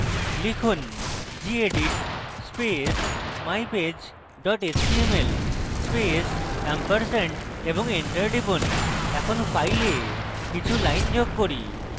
লিখুন: gedit space mypage html space ampersand এবং enter টিপুন এখন file কিছু lines যোগ করি